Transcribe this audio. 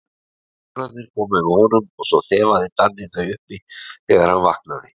Tvíburarnir komu með honum og svo þefaði Danni þau uppi þegar hann vaknaði.